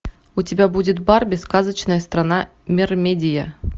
у тебя будет барби сказочная страна мермедия